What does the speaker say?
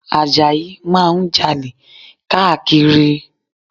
Àjàlá máa ń Jalè káàkiri